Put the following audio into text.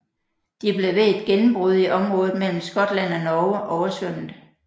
De blev ved et gennembrud i området mellem Skotland og Norge oversvømmet